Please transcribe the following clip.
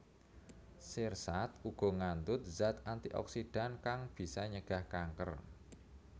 Sirsat uga ngandhut zat antioksidan kang bisa ncegah kanker